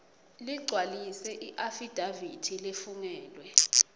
ligcwalise iafidavithi lefungelwe